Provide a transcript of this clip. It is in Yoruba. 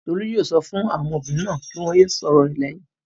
Tolú yóò sọ fún àwọn ọmọbìnrin náà kí wọ́n yé sọ̀rọ̀ rẹ̀ lẹ́yìn.